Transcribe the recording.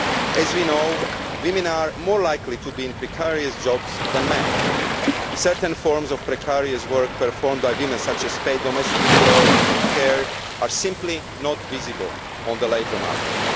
As we know, women are more likely to be in precarious jobs than men. Certain forms of precarious work performed by women, such as paid domestic work and care, are simply not visible on the labour market.